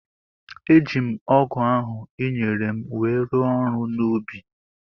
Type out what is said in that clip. Eji m ọgu ahu i nyere m wéé rụọ ọrụ n’ubi